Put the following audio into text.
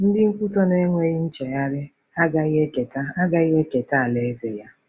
Ndị nkwutọ na-enweghị nchegharị agaghị eketa agaghị eketa Alaeze ya.